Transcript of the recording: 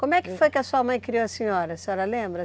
Como é que foi que a sua mãe criou a senhora? A senhora lembra?